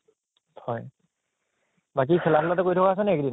হয় বাকী খেলা ধুলাতো কৰি থকা হৈছে এইকেইদিন?